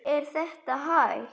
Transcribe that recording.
Er þetta hægt?